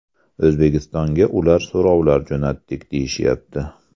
O‘zbekistonga ular so‘rovlar jo‘natdik deyishyapti.